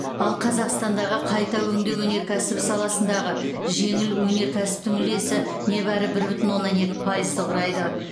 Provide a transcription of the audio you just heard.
ал қазақстандағы қайта өңдеу өнеркәсібі саласындағы жеңіл өнер кәсіптің үлесі небәрі бір бүтін оннан екі пайызды құрайды